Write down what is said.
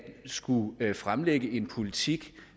skulle fremlægge en politik